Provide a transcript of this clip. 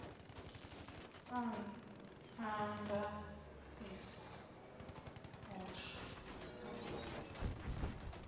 a ndaṱiso u iswa u